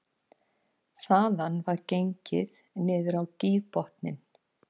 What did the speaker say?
Þaðan var gengið niður á gígbotninn